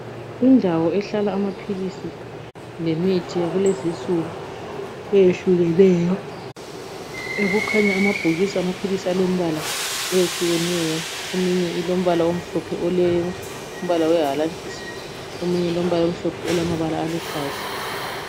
Indawo ehlala amaphilisi lemithi yakulezinsuku eyehlukeneyo ekukhanya amabhokisi amaphilisi alembala eyehlukeneyo eminye ilombala omhlophe ole mbala owehalantshisi, eminye omhlophe alamabala aluhlaza.